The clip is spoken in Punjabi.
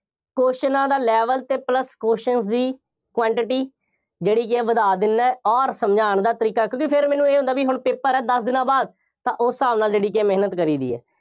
ਕਿਊਸਚਨਾਂ ਦਾ level ਅਤੇ plus questions ਦੀ quantity ਜਿਹੜੀ ਕਿ ਹੈ ਵਧਾ ਦਿੰਦਾ ਅੋਰ ਸਮਝਾਉਣ ਦਾ ਤਰੀਕਾ, ਕਿਉਂਕਿ ਫੇਰ ਮੈਨੂੰ ਇਹ ਹੁੰਦਾ ਬਈ ਹੁਣ paper ਹੈ, ਦਸ ਦਿਨਾਂ ਬਾਅਦ ਤਾਂ ਉਸ ਹਿਸਾਬ ਨਾਲ ਜਿਹੜੀ ਕਿ ਹੈ ਮਿਹਨਤ ਕਰੀ ਦੀ ਹੈ।